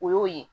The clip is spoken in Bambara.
O y'o ye